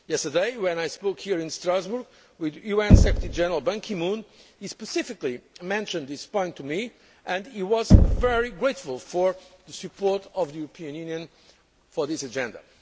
Yesterday, when I spoke here in Strasbourg with UN Secretary General Ban Ki moon, he specifically mentioned this point to me and he was very grateful for the support of the European Union for this agenda.